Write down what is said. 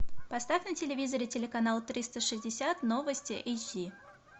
поставь на телевизоре телеканал триста шестьдесят новости эйч ди